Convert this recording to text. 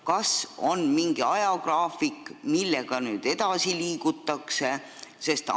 Kas on mingi ajagraafik, millega nüüd edasi liigutakse?